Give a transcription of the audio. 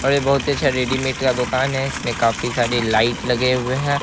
और ये बहुत ही अच्छा रेडीमेड का दुकान है इसमें काफी सारी लाईट लगे हुए हैं ।